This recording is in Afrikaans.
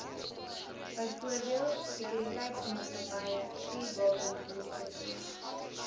byvoorbeeld sekuriteitsmaatskappye vuurwapeninstrukteurs